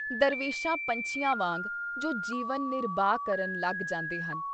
ਦਰਵੇਸ਼ਾਂ ਪੰਛੀਆਂ ਵਾਂਗ ਜੋ ਜੀਵਨ ਨਿਰਬਾਹ ਕਰਨ ਲੱਗ ਜਾਂਦੇ ਹਨ।